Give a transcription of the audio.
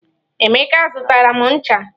Emeka zụtara m ncha.